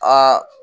Aa